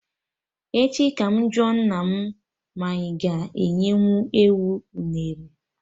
Echi ka mụ jụọ nna mụ ma anyị aga enyenwu enwe unere